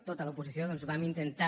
tota l’oposició doncs vam intentar